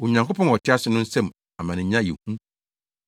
Onyankopɔn a ɔte ase no nsam amanenya yɛ hu.